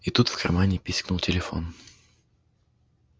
и тут в кармане пискнул телефон